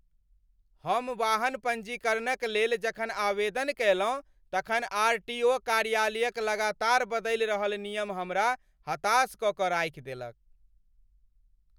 हम वाहन पंजीकरणक लेल जखन आवेदन कयलहुँ तखन आर. टी. ओ. कार्यालयक लगातार बदलि रहल नियम हमरा हताश कऽ कऽ राखि देलक।